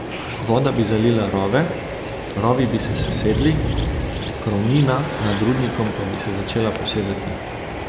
Voda bi zalila rove, rovi bi se sesedli, krovnina nad rudnikom pa bi se začela posedati.